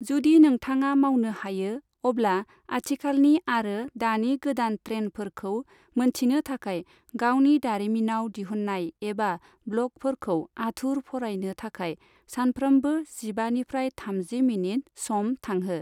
जुदि नोंथाङा मावनो हायो, अब्ला आथिखालनि आरो दानि गोदान ट्रेनफोरखौ मोनथिनो थाखाय गावनि दारिमिनाव दिहुन्नाय एबा ब्लगफोरखौ आथुर फरायनो थाखाय सानफ्रोमबो जिबानिफ्राय थामजि मिनिट सम थांहो।